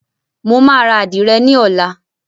Mo máa ra Àdìrẹ ní ọlá.